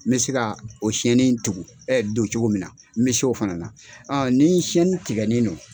N bɛ se ka o tugu don cogo min na n mi se o fana na don.